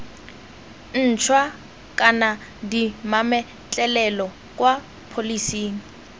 ntšhwa kana dimametlelelo kwa pholising